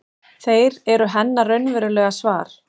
Þeir eru hennar raunverulega svar.